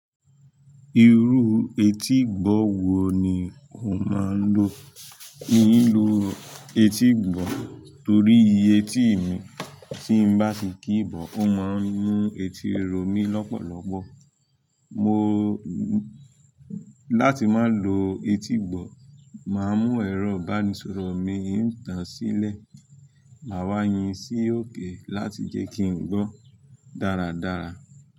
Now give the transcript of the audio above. Irú etígbọ̀ wo ni o máa ń lò? N ó ń lò etígbọ̀ torí iye etí mi, tí n bá ti kí bọ, ó máa ń mú etí ro mi lọ́pọ̀lọpọ̀. Mo, láti má lò etígbọ̀, màá mú ẹ̀rọ ìbánisọ̀rọ̀ mi ìtàn sílẹ̀, màá wá yin sí òkè láti jẹ́ kí n gbọ́ dáradára.